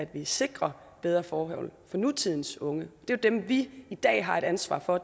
vi sikrer bedre forhold for nutidens unge dem vi i dag har et ansvar for